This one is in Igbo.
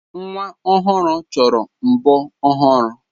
Nwa ọhụrụ chọrọ mbo ọhụrụ.